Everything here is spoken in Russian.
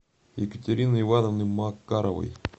екатерины ивановны макаровой